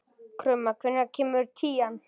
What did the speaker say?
Krumma, hvenær kemur tían?